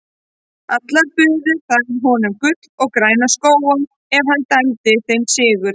Allar buðu þær honum gull og græna skóga ef hann dæmdi þeim sigur.